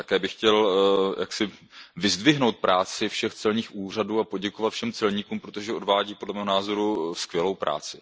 Také bych chtěl vyzdvihnout práci všech celních úřadů a poděkovat všem celníkům, protože odvádí, podle mého názoru, skvělou práci.